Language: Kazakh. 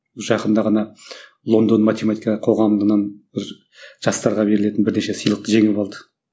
жақында ғана лондон математика қоғамынан бір жастарға берілетін бірнеше сыйлықты жеңіп алды